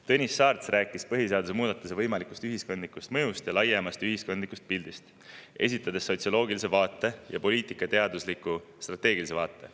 Tõnis Saarts rääkis põhiseaduse muudatuse võimalikust ühiskondlikust mõjust ja laiemast ühiskondlikust pildist, esitades sotsioloogilise vaate ja poliitikateadusliku strateegilise vaate.